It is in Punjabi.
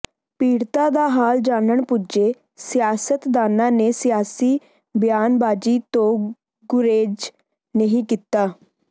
ਪੀੜਤਾਂ ਦਾ ਹਾਲ ਜਾਣਨ ਪੁੱਜੇ ਸਿਆਸਤਦਾਨਾਂ ਨੇ ਸਿਆਸੀ ਬਿਆਨਬਾਜ਼ੀ ਤੋਂ ਗੁਰੇਜ਼ ਨਹੀਂ ਕੀਤਾ